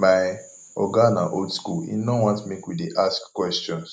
my oga na old skool im no want make we dey ask questions